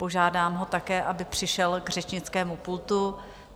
Požádám ho také, aby přišel k řečnickému pultu.